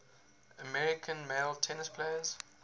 american male tennis players